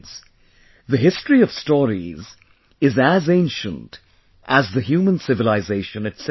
Friends, the history of stories is as ancient as the human civilization itself